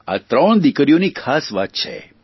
આ ત્રણ દિકરીઓના ખાસ વાત છે